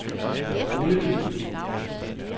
Holeby